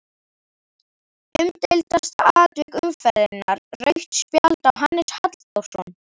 Umdeildasta atvik umferðarinnar: Rautt spjald á Hannes Halldórsson?